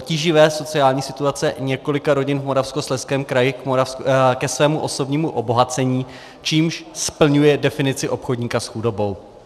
tíživé sociální situace několika rodin v Moravskoslezském kraji ke svému osobnímu obohacení, čímž splňuje definici obchodníka s chudobou.